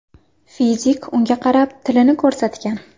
Fizik unga qarab, tilini ko‘rsatgan.